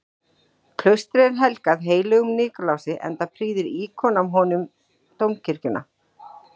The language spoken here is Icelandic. Klaustrið er helgað heilögum Nikulási, enda prýðir íkon af honum dómkirkjuna.